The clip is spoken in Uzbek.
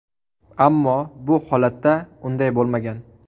Ammo bu holatda unday bo‘lmagan.